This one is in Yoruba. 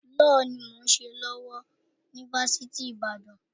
Lọ́ọ̀ ni mò ń ṣe lọ́wọ́ ni Fásitì Ìbàdàn.